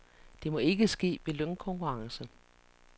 Det må ikke ske ved lønkonkurrence.